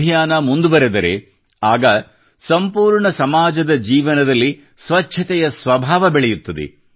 ಪೀಳಿಗೆಯಿಂದ ಪೀಳಿಗೆಯವರೆಗೆ ಸ್ವಚ್ಛತಾ ಅಭಿಯಾನ ಮುಂದುವರಿದರೆ ಆಗ ಸಂಪೂರ್ಣ ಸಮಾಜದ ಜೀವನದಲ್ಲಿ ಸ್ವಚ್ಛತೆಯ ಸ್ವಭಾವ ಬೆಳೆಯುತ್ತದೆ